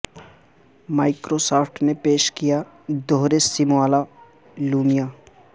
micro soft نے پیش کیا دوہرے سم والا لیومیا